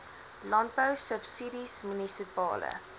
landbou subsidies munisipale